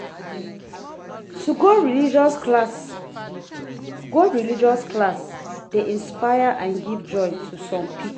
To go religious class go religious class de inspire and give joy to some pipo